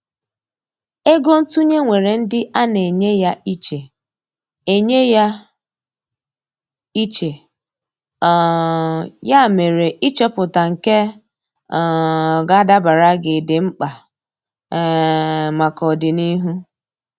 Ego ntụnye nwèrè ndị ana enye ya iche, enye ya iche, um ya mere ịchọpụta nke um ga adabara gị, di mkpa um maka ọdịnihu.